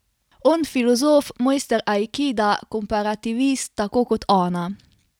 On filozof, mojster aikida, komparativist, tako kot ona.